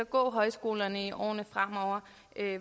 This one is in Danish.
gå højskolerne i årene fremover